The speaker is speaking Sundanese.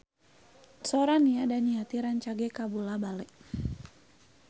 Sora Nia Daniati rancage kabula-bale